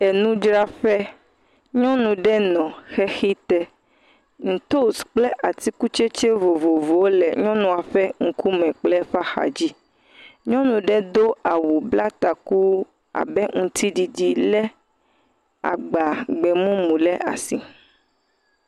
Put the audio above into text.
Enudzraƒe, nyɔnu ɖe nɔ xexi te, ntos kple atikutsetse vovovowo le nyɔnua ƒe ŋkume kple eƒe axa dzi, nyɔnu ɖe do awu, bla taku, abe ŋutiɖiɖi, lé agba gbe mumu ɖe asi.